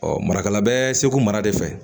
Ɔ marakala bɛ seko mara de fɛ